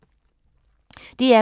DR K